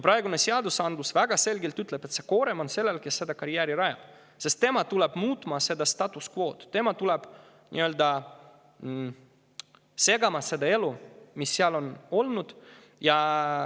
Praegune seadus ütleb väga selgelt, et koorem on sellel, kes karjääri rajab, sest tema tuleb muutma seda status quo'd, tema tuleb nii-öelda segama seda elu, mis seal enne on olnud.